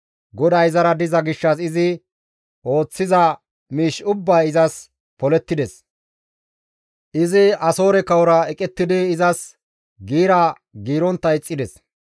GODAY izara diza gishshas izi ooththiza miish ubbay izas polettides; izi Asoore kawora eqettidi izas giira giirontta ixxides.